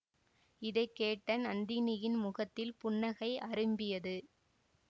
இதை கேட்ட நந்தினியின் முகத்தில் புன்னகை அரும்பியது